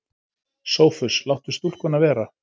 SOPHUS: Láttu stúlkuna vera.